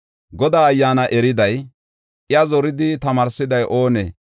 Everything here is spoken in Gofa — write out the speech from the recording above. Godaa Ayyaana eriday, iya zoridi tamaarsiday oonee?